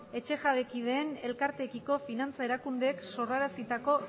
etxejabekideen elkarteekiko finantza erakundeek sorrarazitako